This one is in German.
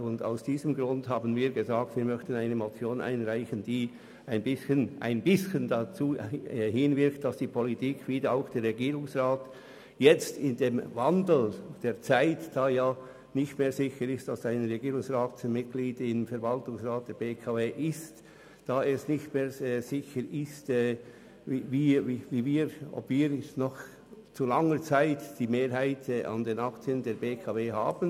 Aus diesem Grund wollten wir eine Motion einreichen, die etwas dazu beiträgt, dass die Politik inklusive Regierungsrat jetzt im Wandel der Zeit, in welcher nicht mehr sicher ist, dass ein Regierungsrat als Mitglied im Verwaltungsrat der BKW sitzt, längerfristig die Mehrheit der Aktien behält.